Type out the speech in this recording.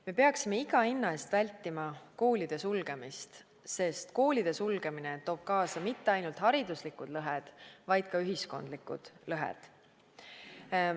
Me peaksime iga hinna eest vältima koolide sulgemist, sest koolide sulgemine toob kaasa mitte ainult hariduslikud lõhed, vaid ka ühiskondlikud lõhed.